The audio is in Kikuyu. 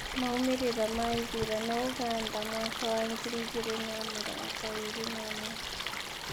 Maumĩrĩra ma ithurano Ũganda mwaka wa ngiri igĩrĩ na mĩrngo ĩrĩ na ĩmwe